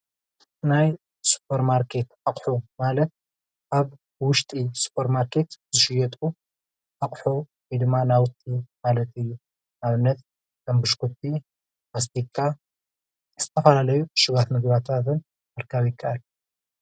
ናይ ሱፐርማርኬት ኣቁሑ ማለት ኣብ ውሽጢ ሱፐርማርኬት ዝሽየጡ ኣቁሑ ወይ ድማ ናዉቲ ማለት እዩ ።ንኣብነት ከሞ ቡሽኩቲ፣ መስቲካን ዝተፈላለዩ ዕሹጋት ምግብታት ምርካብ ይከኣል እዪ።